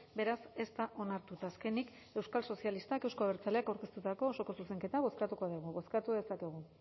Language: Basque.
beraz ez da onartu eta azkenik euskal sozialistak euzko abertzaleak aurkeztutako osoko zuzenketa bozkatuko dugu bozkatu dezakegu